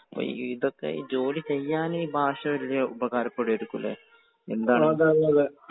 അപ്പൊ ഇതൊക്കെ ജോലിചെയ്യാൻ ഈ ഭാഷ ഉപകാരപ്പെടുമായിരിക്കും അല്ലേ? എന്താണ്?